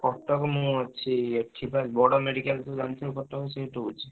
କଟକ ମୁଁ ଅଛି ଏଠି ବା ବଡ medical ତୁ ଜାଣିଥିବୁ କଟକ ସେଇଠି ରହୁଛି।